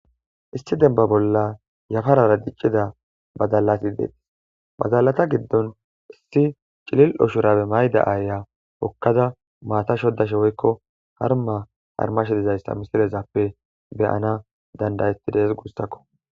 Issi denba bolla yafarara diccida badalati deetis badalata giddon issi cilil oshurabe mayda aaya hokkada maata shodashe woykko harma harmashedizayssa misirezappe beyana dandayetti dees guussakko